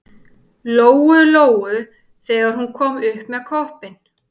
Lóu-Lóu þegar hún kom upp með koppinn.